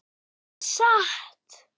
Það er satt.